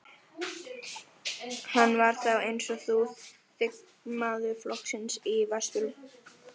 Hann var þá, eins og nú, þingmaður flokksins í Vesturlandskjördæmi.